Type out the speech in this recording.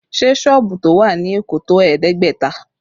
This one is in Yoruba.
Ṣé sọ́ọ̀bù tó wà ní Èkó tó ẹ̀ẹ́dẹ́gbẹ̀ta?